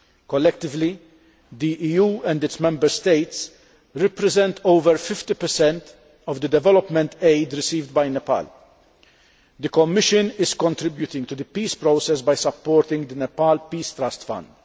Collectively the EU and its Member States represent over 50 of the development aid received by Nepal. The Commission is contributing to the peace process by supporting the Nepal Peace Trust Fund.